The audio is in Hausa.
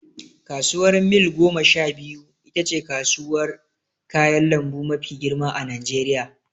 Kasuwar mil gomasha biyu itace kasuwar kayan lambu mafi girma a najeriya